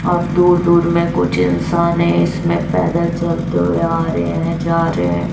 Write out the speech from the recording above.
और दूर दूर में कुछ इंसान है इसमें पैदल चलते हुए आ रहे हैं जा रहे हैं।